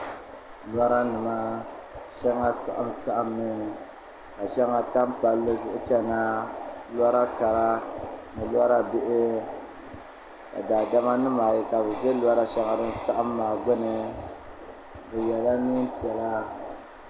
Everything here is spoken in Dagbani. Lora nima shɛŋa saɣam saɣammi ka shɛŋa tam palli zuɣu chɛna lora kara ni lora bihi ka daadama nim ayI ka bi ʒɛ lora shɛŋa din saɣam maa gbuni bi yɛla neen piɛla